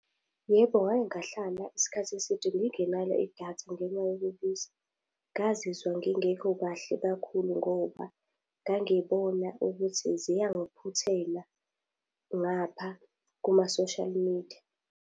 Yebo ngake ngahlala isikhathi eside ngingenalo idatha ngenxa yokubiza. Ngazizwe ngingekho kahle kakhulu ngoba ngangibona ukuthi ziyangiphuthela ngapha kuma-social media.